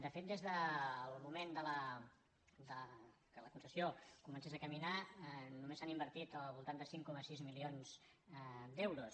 de fet des del moment que la concessió comencés a caminar només s’han invertit al voltant de cinc coma sis milions d’euros